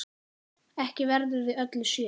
Ekki verður við öllu séð.